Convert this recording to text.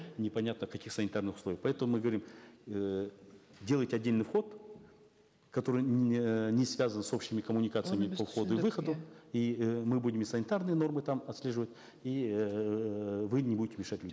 непонятно в каких санитарных условиях поэтому мы говорим эээ делайте отдельный вход который эээ не связан с общими коммуникациями и э мы будем и санитарные нормы там отслеживать и эээ вы не будете мешать людям